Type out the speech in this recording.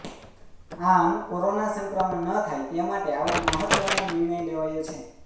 આમ કોરોના સંક્રમણ ન થાય તે માટે આવો મહત્વનો નિર્ણય લેવાયો છે